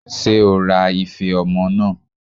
Ṣé o ra ife ọmọ náà?